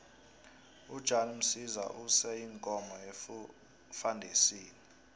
ujan msiza use iinkomo efandisini